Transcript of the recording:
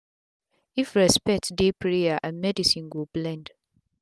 if respect dey prayer and medicine go blend